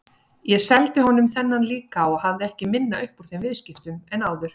Ég seldi honum þennan líka og hafði ekki minna upp úr þeim viðskiptum en áður.